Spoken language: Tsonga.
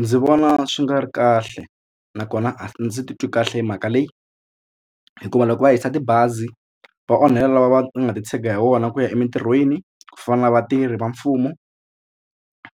Ndzi vona swi nga ri kahle nakona a ndzi titwi kahle hi mhaka leyi hikuva loko va hisa tibazi va onhela lava va nga titshega hi wona ku ya emitirhweni ku fana na vatirhi va mfumo